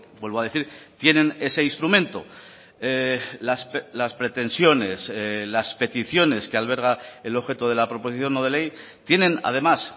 vuelvo a decir tienen ese instrumento las pretensiones las peticiones que alberga el objeto de la proposición no de ley tienen además